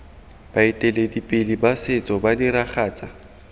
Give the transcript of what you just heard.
baeteledipele ba setso ba diragatsa